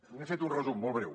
n’he fet un resum molt breu